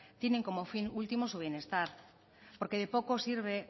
tienen como fin último su bienestar porque de poco sirve